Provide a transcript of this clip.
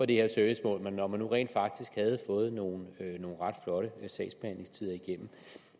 det her servicemål når man nu rent faktisk havde fået nogle ret flotte sagsbehandlingstider igennem